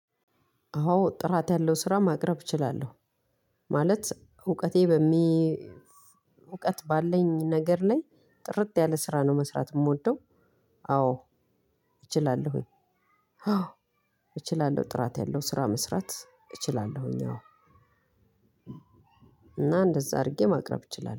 አዎ ጥራት ያለው ስራ ማቅረብ እችላለሁ። ማለት እውቀቴ በሚ እውቀት ባለኝ ነገር ላይ ጥርጥ ያለ ስራ ነው መስራት የምወደው። አዎ እችላለሁኝ። አዎ እችላለሁ። ጥራት ያለው ስራ መስራት እችላለሁኝ አዎ። እና እንደዛ አድርጌ ማቅረብ እችላለሁ